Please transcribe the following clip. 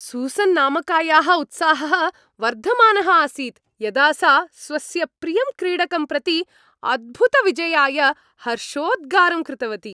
Susan नामकायाः उत्साहः वर्धमानः आसीत्, यदा सा स्वस्य प्रियं क्रीडकम् प्रति अद्भुतविजयाय हर्षोद्गारं कृतवती।